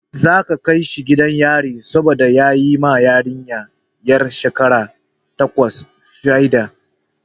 Za a kai shi gidan yari saboda ya yi ma yarinya 'yar shekara takwas fyade.